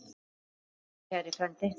Þakka þér fyrir, kæri frændi.